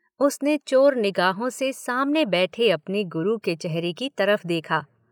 उसने चोर निगाहों से सामने बैठे अपने गुरु के चेहरे की तरफ़ देखा।